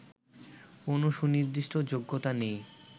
কোন সুনির্দিষ্ট যোগ্যতা নেই